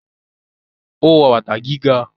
ó wọ bàtà gíga